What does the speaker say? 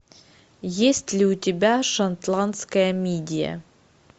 есть ли у тебя шотландская мидия